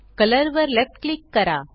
colour वर left click करा